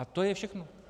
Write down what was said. A to je všechno.